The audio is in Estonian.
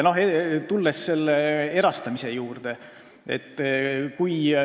Tulen erastamise juurde.